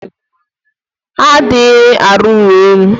Ha adirighi aru ulo elu.